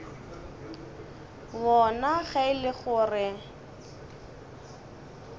wona ge e le gore